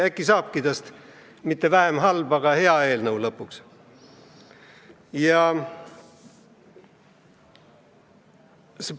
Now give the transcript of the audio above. Äkki saabki tast lõpuks mitte vähem halb, aga hea eelnõu.